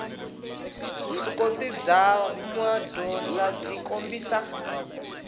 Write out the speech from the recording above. vuswikoti bya madyondza byi kombisa